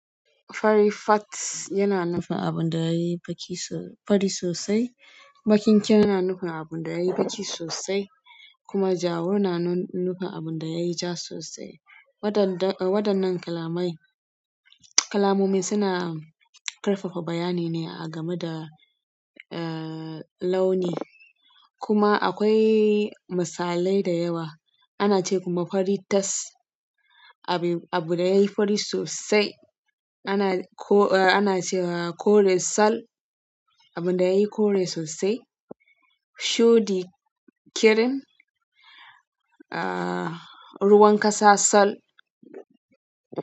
Fari fat yana nufin abin da yayi fari sosai, baƙi ƙirin yana nufin abun da yayi baƙi sosai kuma jawur na nufin abun da yayi ja sosai. Waɗannan kalamai, kalmomin suna ƙarfafa bayani ne a game da launi kuma akwai misalai da yawa. Ana ce kuma fari tas abu da yayi fari sosai, ana cewa kore sal abun da yayi kore sosai, shuɗi kirin, eh, ruwan ƙasa sal.